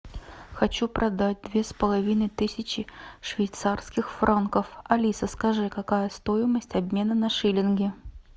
хочу продать две с половиной тысячи швейцарских франков алиса скажи какая стоимость обмена на шиллинги